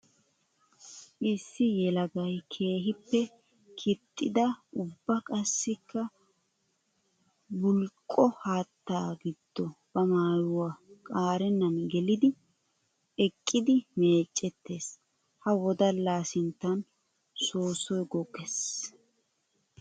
Issi yelagay keehippe kixxidda ubba qassikka buliqqo haatta giddo ba maayuwa qaarenan geliddi eqqiddi meecetees. Ha wodalla sinttan soossoy goggees.